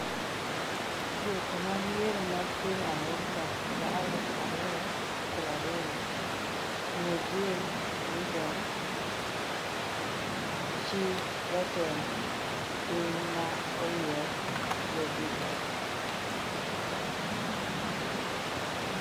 Duoko mag yiero mag piny Amerka higa maraluf ariyo prariyo: Ng'e Jill Biden, chi Jatend piny ma oyier Joe Biden